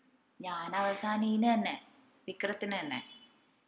ഞാനവസാനം ഇതിന് തന്നെ വിക്രത്തിന് തന്നെ